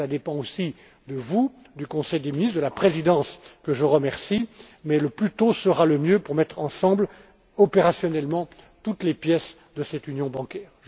Cela dépend aussi de vous, du Conseil des ministres, de la Présidence, que je remercie, mais le plus tôt sera le mieux pour mettre ensemble, de façon opérationnelle, toutes les pièces de cette union bancaire.